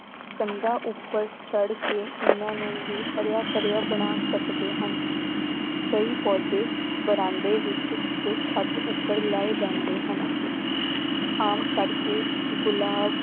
ਕੰਧਾਂ ਉੱਪਰ ਚੜ੍ਹ ਕੇ ਇਹਨਾਂ ਨੂੰ ਵੀ ਹਰਿਆ ਭਰਿਆ ਬਣਾ ਸਕਦੇ ਹਾਂ ਕਈ ਪੌਦੇ ਬਰਾਂਡੇ ਵਿੱਚ ਤੇ ਛੱਤ ਉੱਪਰ ਲਾਏ ਜਾਂਦੇ ਹਨ ਆਮ ਕਰਕੇ ਗੁਲਾਬ